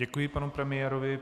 Děkuji panu premiérovi.